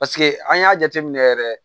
Paseke an y'a jateminɛ yɛrɛ